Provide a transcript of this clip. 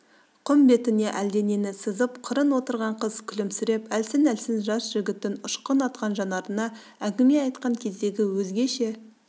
құм бетіне әлденені сызып қырын отырған қыз күлімсіреп әлсін-әлсін жас жігіттің ұшқын атқан жанарына әңгіме айтқан кездегі өзгеше